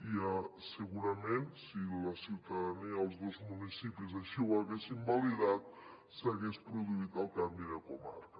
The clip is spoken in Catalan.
i segurament si la ciutadania dels dos municipis així ho haguessin validat s’hagués produït el canvi de comarca